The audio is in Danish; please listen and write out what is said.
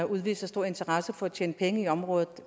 udviser stor interesse for at tjene penge i området